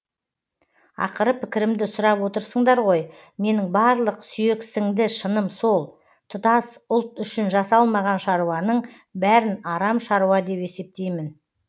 ақыры пікірімді сұрап отырсыңдар ғой менің барлық сүйексіңді шыным сол тұтас ұлт үшін жасалмаған шаруаның бәрін арам шаруа деп есептеймін